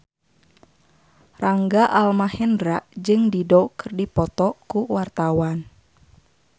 Rangga Almahendra jeung Dido keur dipoto ku wartawan